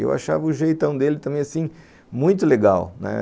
E eu achava o jeitão dele também, assim, muito legal, né.